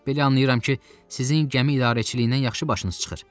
Belə anlayıram ki, sizin gəmi idarəçiliyindən yaxşı başınız çıxır.